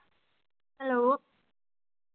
hello